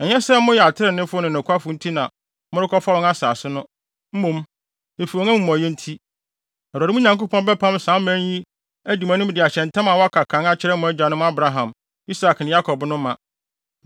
Ɛnyɛ sɛ moyɛ atreneefo ne nokwafo nti na morekɔfa wɔn asase no; mmom, efi wɔn amumɔyɛ nti, Awurade, mo Nyankopɔn, bɛpam saa aman yi adi mo anim de ahyɛ ntam a wadi kan aka akyerɛ mo agyanom Abraham, Isak ne Yakob no ma.